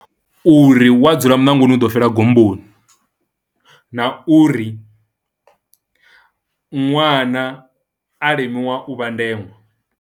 Uri wa dzula muṋangoni u ḓo fhela gomboni na uri ṅwana a limiwa u vha ndeṅwa.